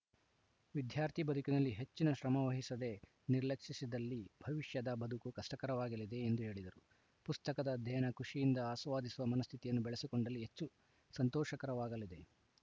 ವಿದ್ಯಾರ್ಥಿ ಬದುಕಿನಲ್ಲಿ ಹೆಚ್ಚಿನ ಶ್ರಮವಹಿಸದೆ ನಿರ್ಲಕ್ಷಿಸಿದಲ್ಲಿ ಭವಿಷ್ಯದ ಬದುಕು ಕಷ್ಟಕರವಾಗಲಿದೆ ಎಂದು ಹೇಳಿದರು ಪುಸ್ತಕದ ಅಧ್ಯಯನ ಖುಷಿಯಿಂದ ಆಸ್ವಾದಿಸುವ ಮನಸ್ಥಿತಿಯನ್ನು ಬೆಳೆಸಿಕೊಂಡಲ್ಲಿ ಹೆಚ್ಚು ಸಂತೋಷಕರವಾಗಲಿದೆ